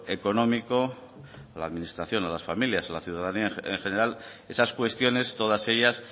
económico a la administración a las familias y a la ciudadanía en general esas cuestiones todas ellas